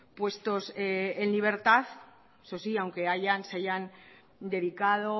puestos en libertad eso sí aunque se hayan dedicado